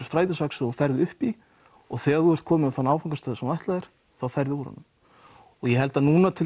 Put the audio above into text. strætisvagn sem þú færir upp í og þegar þú ert kominn á þann áfangastað sem þú ætlaðir þér ferðu úr honum ég held að núna